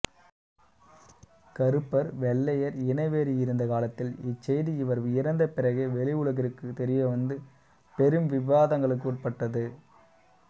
கறுப்பர் வெள்ளையர் இனவெறி இருந்த காலத்தில் இச்செய்தி இவர் இறந்த பிறகே வெளிஉலகிற்குத் தெரியவந்து பெரும் விவாதங்களுக்குட்பட்டது